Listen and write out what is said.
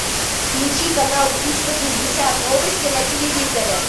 включи канал триста шестьдесят новости на телевизоре